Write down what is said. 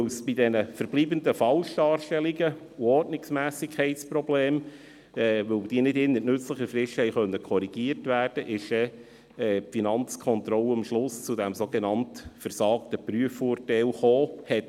Weil die verbleibenden Falschdarstellungen und Ordnungsmässigkeitsprobleme nicht innert nützlicher Frist korrigiert werden konnten, kam die Finanzkontrolle am Schluss zu diesem sogenannt «versagten» Prüfungsurteilt.